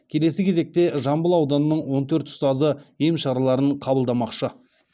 келесі кезекте жамбыл ауданының он төрт ұстазы ем шараларын қабылдамақшы